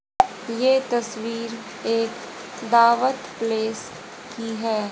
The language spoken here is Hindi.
ये तस्वीर एक दावत प्लेस की है।